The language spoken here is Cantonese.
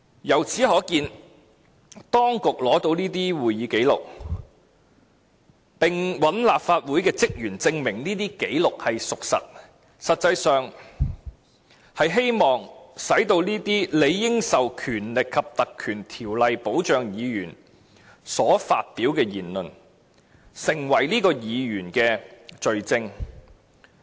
由此可見，當局取得了會議紀錄，並找來立法會職員證明紀錄屬實，實際上，便是希望令這些理應受《立法會條例》保障的議員所發表的言論，成為該名議員的罪證。